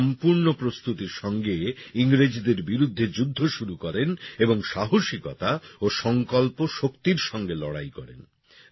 তিনি সম্পূর্ন প্রস্তুতির সঙ্গে ইংরেজদের বিরুদ্ধে যুদ্ধ শুরু করেন এবং সাহসিকতা ও সংকল্প শক্তির সঙ্গে লড়াই করেন